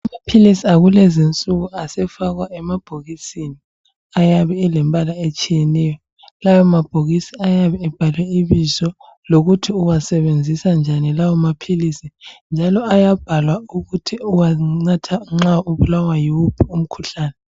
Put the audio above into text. Amaphilisi akulezi insuku asefakwa emabhokisini ayabe elembala etshiyeneyo lawo mabhokisi ayabe ebhalwe ibizo lokuthi uwasebenzisa njani lawo maphilisi njalo ayabhalwa ukuthi uwanatha nxa ubulawa yiwuphi umkhuhlane.